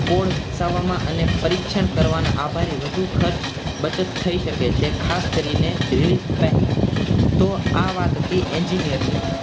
code વિકસાવવામાં અને પરીક્ષણ કરવામાં આભારી વધુ ખર્ચ બચત થઈ શકે છે ખાસ કરીને નિયુક્ત પહેલા તો આ વાત હતી engineer ની